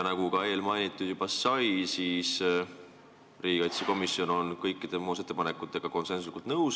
Nagu eespool juba mainitud sai, on riigikaitsekomisjon olnud kõikide muudatusettepanekutega konsensuslikult nõus.